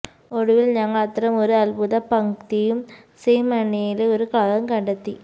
ഒടുവിൽ ഞങ്ങൾ അത്തരമൊരു അത്ഭുത പംക്തിയും സീമണിലെ ഒരു കളറും കണ്ടെത്തി